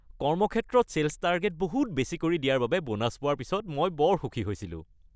কৰ্মক্ষেত্ৰত sales target বহুত বেছি কৰি দিয়াৰ বাবে ব'নাছ পোৱাৰ পিছত মই বৰ সুখী হৈছিলো।